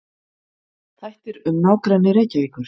Þættir um nágrenni Reykjavíkur.